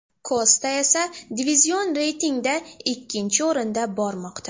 Kosta esa divizion reytingida ikkinchi o‘rinda bormoqda.